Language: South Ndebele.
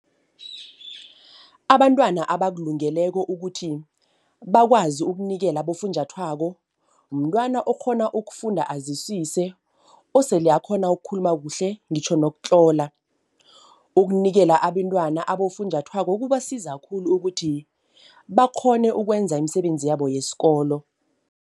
Abantwana abakulungekelo ukuthi bakwazi ukunikela abofunjathwako. Mntwana okghona ukufunda aziswise, osele akghona ukukhuluma kuhle ngitjho nokutlola. Ukunikela abentwana abofunjathwako kubasiza khulu ukuthi bakghone ukwenza imisebenzi yabo yesikolo.